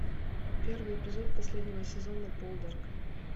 первый эпизод последнего сезона полдарк